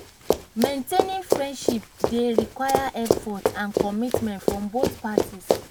maintaining friendships dey require effort and commitment from both parties.